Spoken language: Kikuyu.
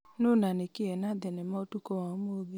nũ na nĩ kĩĩ ena thenema ũtukũ wa ũmũthĩ